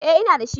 Eh ina da shi.